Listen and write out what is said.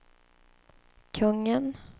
kungen